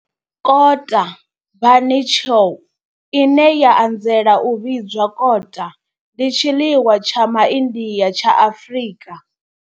Kota bunny chow, ine ya anzela u vhidzwa kota, ndi tshiḽiwa tsha Ma India tsha Afrika.